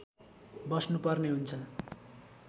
बस्नु पर्ने हुन्छ